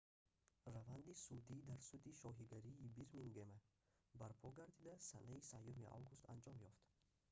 раванди судӣ дар суди шоҳигарии бирмингема барпо гардида санаи 3 август анҷом ёфт